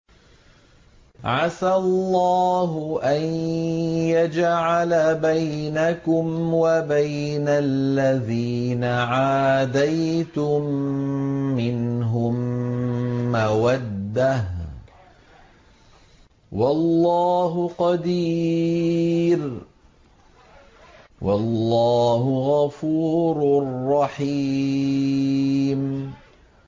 ۞ عَسَى اللَّهُ أَن يَجْعَلَ بَيْنَكُمْ وَبَيْنَ الَّذِينَ عَادَيْتُم مِّنْهُم مَّوَدَّةً ۚ وَاللَّهُ قَدِيرٌ ۚ وَاللَّهُ غَفُورٌ رَّحِيمٌ